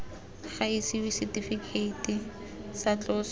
ga isiwa setifikeiti sa tloso